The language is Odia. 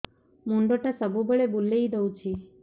ମୁଣ୍ଡଟା ସବୁବେଳେ ବୁଲେଇ ଦଉଛି